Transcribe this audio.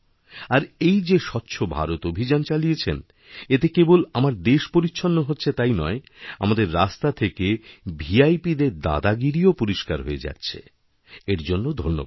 আর এই যে স্বচ্ছ ভারত অভিযান চালিয়েছেন এতে কেবল আমাদের দেশপরিচ্ছন্ন হচ্ছে তাই নয় আমাদের রাস্তা থেকে ভিআইপিদের দাদাগিরিও পরিষ্কার হয়েযাচ্ছে এর জন্য ধন্যবাদ